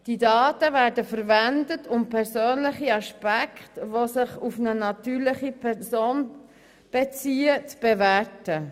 Die Daten werden verwendet, um persönliche Aspekte, die sich auf eine natürliche Person beziehen, zu bewerten.